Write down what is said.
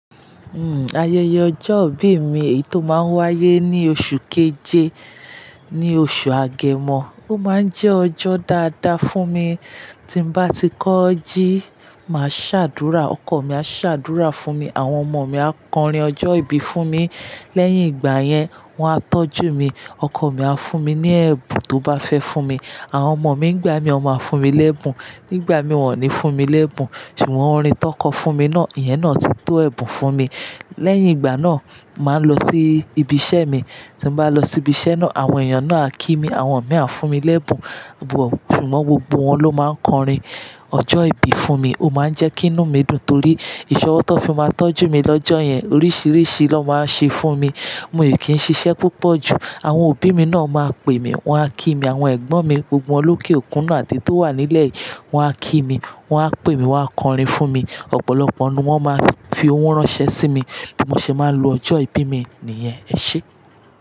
Hmm, ayẹyẹ ọjọ́ ìbí mi èyí tó máa ń wáyé ní oṣù keje, ní oṣù Agẹmọ. Ó máa ń jẹ́ ọjọ́ dáadáa fún mi. Tí n bá ti kọ jí, màá ṣàdúrà, ọkọ̀ mi á ṣàdúrà fún mi, àwọn ọmọ mi á kọrin ọjọ́ ìbí fún mi. Lẹ́yìn ìgbà yẹn, wọ́n á tọ́jú mi. Ọkọ mi á fún mi ní ẹ̀bùn tó bá fẹ́ fún mi. Àwọn ọmọ mi nígbà mìí wọn máa fún mi lẹ́bùn. Nígbà mìí wọ́n ò ní fún mi lẹ́bùn, ṣùgbọ́n orin tón kọ fún mi náà, ìyẹn náà ti tó ẹ̀bùn fún mi. Lẹ́yìn ìgbà náà, màá lọ sí ibi iṣẹ́ mi. Tí n bá lọ sibi iṣẹ́ náà, àwọn èèyàn náà á kí mi, àwọn mìí á fún mi lẹ́bùn, bọ̀ ṣùgbọ́n gbogbo wọn ló máa ń kọrin ọjọ́ ìbí fún mi. Ó máa ń jẹ́ kinú mi dùn torí ìṣọwọ́ tón fi máa tọ́jú mi lọ́jọ́ yẹn. Oríṣìíríṣìí lón máa ń ṣe fún mi. Mo i kí n ṣiṣẹ́ púpọ̀ jù. Àwọn òbí mi náà máa pè mí, wọ́n á kí mi àwọn ẹ̀gbọ́n mi, gbogbo wọn lókè òkun náà àteyii tó wà nílẹ̀ yìí, wọ́n á kí mi, wọ́n á pè mí, wọ́n á kọrin fún mi. Ọ̀pọ̀lọpọ̀ nù wọ́n máa fi owó ránṣẹ́ sí mi bí mo ṣe máa ń lo ọjọ́ ìbí mi nìyẹn, ẹ ṣé?